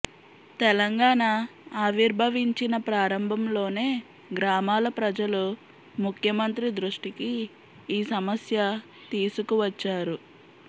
తెలంగాణ ఆవిర్భవించిన ప్రారంభంలోనే గ్రామాల ప్రజలు ముఖ్యమంత్రి దృష్టికి ఈ సమస్య తీసుకు వచ్చారు